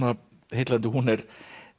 heillandi hún er